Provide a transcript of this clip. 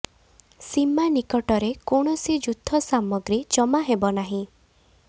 ସୀମା ନିକଟରେ କୌଣସି ଯୁଦ୍ଧ ସାମଗ୍ରୀ ଜମା ହେବ ନାହିଁ